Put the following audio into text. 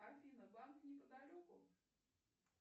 афина банк неподалеку